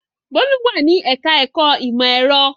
Bólú wà ní ẹ̀ka-ẹ̀kọ́ ìmọ̀-ẹ̀rọ.